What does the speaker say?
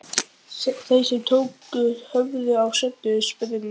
Þeir sem tök höfðu á söfnuðust að brunnunum.